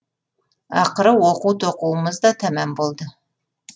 ақыры оқу тоқуымыз да тәмам болды